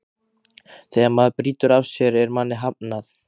Þegar maður brýtur af sér er manni hafnað.